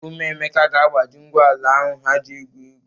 Ụmụ Emeka ga-agbaji ngwu ala ahụ ha ji égwù égwú.